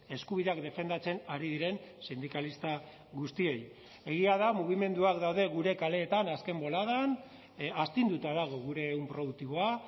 eskubideak defendatzen ari diren sindikalista guztiei egia da mugimenduak daude gure kaleetan azken boladan astinduta dago gure ehun produktiboa